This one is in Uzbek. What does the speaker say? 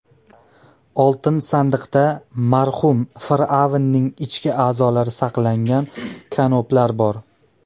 Oltin sandiqda marhum fir’avnning ichki a’zolari saqlangan kanoplar bor.